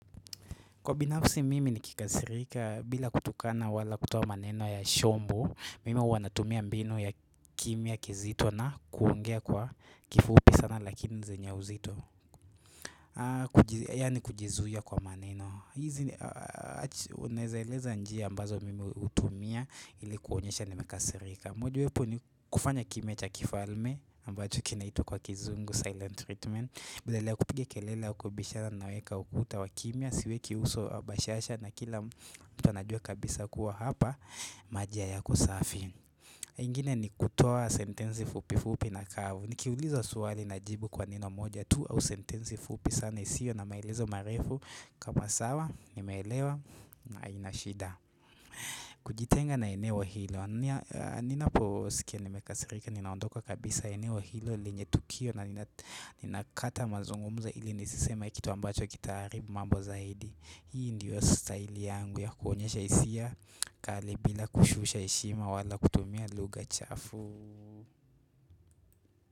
Kwa binafsi mimi ni kikasirika bila kutukana wala kutoa maneno ya shombo, mimi huwa natumia mbinu ya kimya kizito na kuongea kwa kifupi sana lakini zenya uzito. Yaani kujizuia kwa maneno. Hizi unaeza eleza njia ambazo mimi utumia ili kuonyesha nimekasirika. Mojawepo ni kufanya kimya cha kifalme ambacho kinaitwa kwa kizungu silent treatment. Badala kupiga kelele au kubishana naweka ukuta wakimia siweki uso au bashasha na kila mtu anajua kabisa kuwa hapa majia hayako safi ingine ni kutoa sentensi fupifupi na kavu Nikiulizwa swali na jibu kwa neno moja tu au sentensi fupi sana isiyo na maelezo marefu kama sawa nimeelewa na haina shida kujitenga na eneo hilo Ninapo sikia nimekasirika Ninaondoka kabisa eneo hilo lenye tukio na ninakata mazungumzo ili nisisema Kitu ambacho kitaharibu mambo zaidi Hii ndiyo style yangu ya kuonyesha hisia kali bila kushusha heshima wala kutumia lugha chafu.